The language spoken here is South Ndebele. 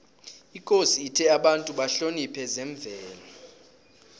ikosi ithe abantu bahloniphe zemvelo